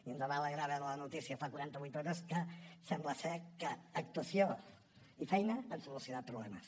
i ens va alegrar veure la notícia fa quaranta vuit hores que sembla que actuació i feina han solucionat problemes